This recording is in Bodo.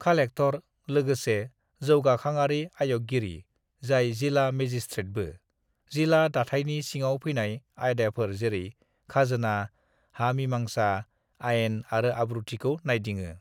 "खालेखथर लोगोसे जौगाखांआरि आय'गगिरि जाय जिला मेजिसथ्रेथबो, जिला दाथायनि सिङाव फैनाय आयदाफोर जेरै खाजोना, हा मिमांसा, आइन आरो आब्रुथिखौ नायदिङो।"